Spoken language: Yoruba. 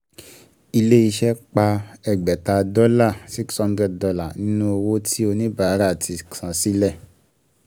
Ilẹ̀ ìṣe pá ẹgbẹ̀ta dọ́là six hundred dollars nínú owó tí oníbàárà ti san sílẹ̀